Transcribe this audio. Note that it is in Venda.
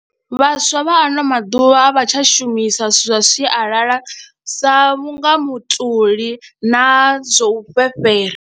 Vhaswa vha ano maḓuvha a vha tsha shumisa zwithu zwa sialala sa vhunga mutoli na zwo u fhefhera.